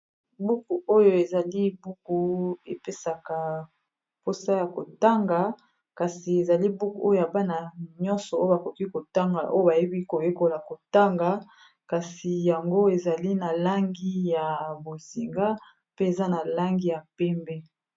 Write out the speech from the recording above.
Buku oyo ezali buku epesaka mposa ya kotanga kasi ezali buku oyo ya bana nyonso oyo bakoki kotanga oyo bayebi koyekola kotanga kasi yango ezali na langi ya bozinga pe eza na langi ya pembe.